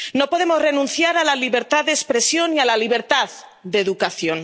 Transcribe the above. No podemos renunciar a la libertad de expresión y a la libertad de educación.